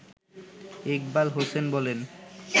ইকবাল হোসেন বলেন